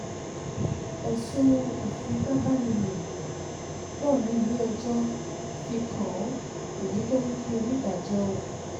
ẹ̀sùn ìfipá bá ní lò pọ̀ ní ilé-ẹjọ́ fi kàn án èyí tó mú kí onídàájọ́ o